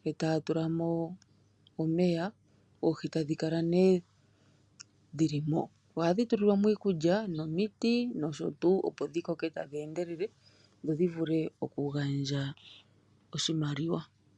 nde taatulamo omeya, oohi tadhikala needhilimo. Ohadhitulilwamo iikulya, nomiti noshotuu, opodhikoke taadhendelele opodhivule okugandja oshimaliwa.